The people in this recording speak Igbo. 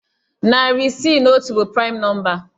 Narị isii na otu bụ praịm nọmba